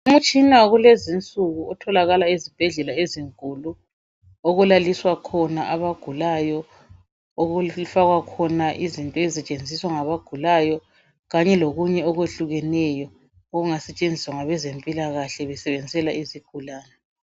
Umtshina wakulezinsuku otholakala ezibhedlela ezinkulu okulaliswa khona abagulayo okufakwa khona izinto ezisetshenziswa ngabagulayo kanye lokunye okwehlukeneyo okungasetshenziswa ngabezempilakahle besebenzisela izigulani.